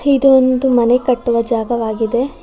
ಇದು ಒಂದು ಮನೆ ಕಟ್ಟುವ ಜಾಗವಾಗಿದೆ.